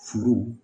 Furu